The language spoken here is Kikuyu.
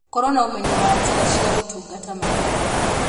Korũo na ũmenyo wa njĩra cia gũtungata maitho